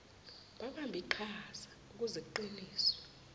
babambe iqhazaukuze kuqiniswe